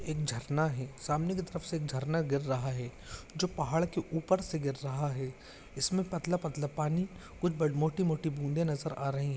एक झरना है सामने की तरफ से एक झरना गिर रहा है जो पहाड़ के ऊपर से गिर रहा है इसमे पतला-पतला पानी कुच मोठी-मोठी बुँदे नजर आ रही है।